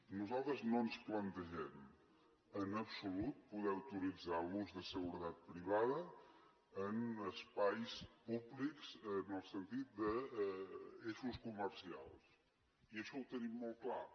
nosaltres no ens plantegem en absolut poder autoritzar l’ús de seguretat privada en espais públics en el sentit d’eixos comercials i això ho tenim molt clar